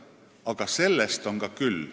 Aga sellest on ka küll.